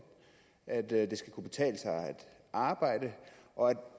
at det skal kunne betale sig at arbejde og at